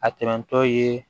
A tɛmɛtɔ ye